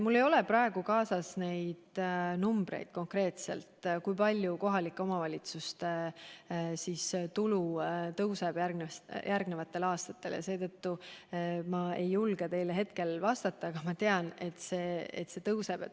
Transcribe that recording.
Mul ei ole kaasas neid konkreetseid numbreid, kui palju kohalike omavalitsuste tulu järgmistel aastatel kasvab, ja seetõttu ma ei julge teile hetkel vastata, aga ma tean, et see kasvab.